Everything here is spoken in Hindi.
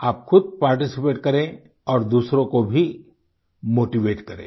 आप ख़ुद पार्टिसिपेट करें और दूसरों को भी मोटीवेट करें